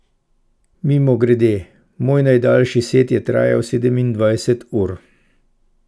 Mimogrede, moj najdaljši set je trajal sedemindvajset ur.